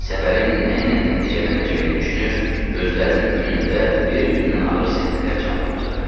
Səfərin nə ilə nəticələnəcəyini düşünür, gözlərinin önündə bir-birindən ağır səhnələr canlanırdı.